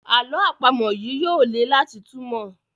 àlọ́ àpamọ̀ yí yóò lẹ láti túmọ.